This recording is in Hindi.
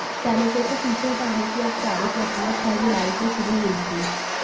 सैनिकों को पीछे हटाने की औपचारिक प्रक्रिया छह जुलाई को शुरू हुई थी